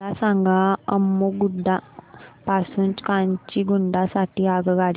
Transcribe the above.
मला सांगा अम्मुगुडा पासून काचीगुडा साठी आगगाडी